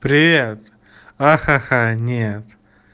привет а ха-ха-ха нет